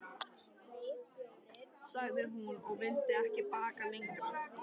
sagði hún, og vildi ekki bakka lengra.